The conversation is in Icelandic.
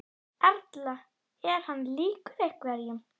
Erla: Er hann líkur einhverjum?